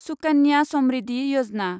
Sukanya Samriddhi Yojana